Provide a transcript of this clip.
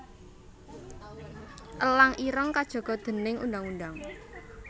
Elang ireng kajaga déning undang undang